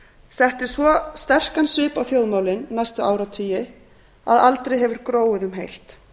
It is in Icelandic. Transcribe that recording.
setti svo sterkan svip á þjóðmálin næstu áratugi að aldrei hefur gróið um heilt